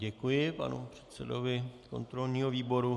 Děkuji panu předsedovi kontrolního výboru.